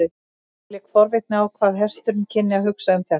Mér lék forvitni á hvað hesturinn kynni að hugsa um þetta.